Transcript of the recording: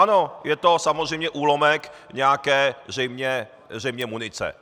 Ano, je to samozřejmě úlomek nějaké zřejmě munice.